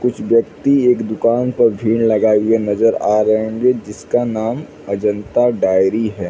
कुछ व्यक्ति एक दुकान पर भीड़ लगाए हुए नज़र आ रहे होंगे जिसका अजंता डायरी हैं ।